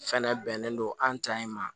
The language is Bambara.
Fɛnɛ bɛnnen don an ta in ma